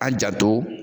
An janto